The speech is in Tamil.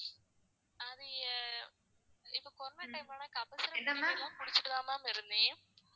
அது இப்ப corona time ல லாம் கபசுர குடிநீர்லாம் குடிச்சிட்டு தான் ma'am இருந்தேன்.